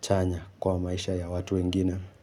chanya kwa maisha ya watu wengine.